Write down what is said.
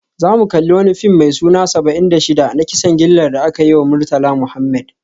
Za mu kalli wani fim mai suna Saba'in da Shida, na kisan gillar da aka yi wa Murtala Muhammed